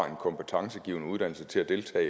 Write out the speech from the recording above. en kompetencegivende uddannelse til at deltage